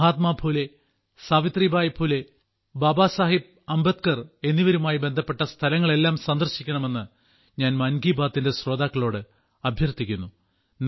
മഹാത്മാ ഫുലെ സാവിത്രി ബായി ഫുലെ ബാബാ സാബേഹ് അംബേദ്കർ എന്നിവരുമായി ബന്ധപ്പെട്ട സ്ഥലങ്ങളെല്ലാം സന്ദർശിക്കണമെന്ന് ഞാൻ മൻ കി ബാത്തിന്റെ ശ്രോതാക്കളോട് അഭ്യർത്ഥിക്കുന്നു